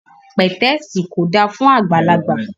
Pẹ̀tẹ́ẹ̀sì kò dáa fún àgbàlagbà